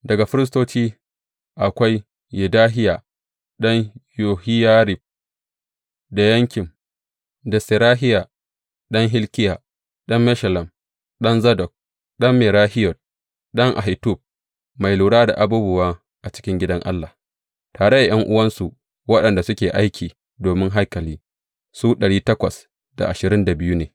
Daga firistoci akwai, Yedahiya ɗan Yohiyarib, da Yakin, da Serahiya ɗan Hilkiya, ɗan Meshullam, ɗan Zadok, ɗan Merahiyot, ɗan Ahitub, mai lura da abubuwa a cikin gidan Allah, tare da ’yan’uwansu waɗanda suke aiki domin haikali, su ne.